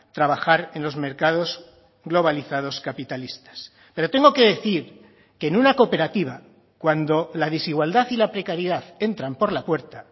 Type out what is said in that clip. trabajar en los mercados globalizados capitalistas pero tengo que decir que en una cooperativa cuando la desigualdad y la precariedad entran por la puerta